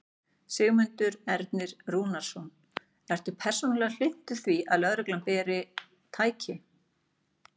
Sigmundur Ernir Rúnarsson: Ertu persónulega hlynntur því að lögreglan beri. tæki?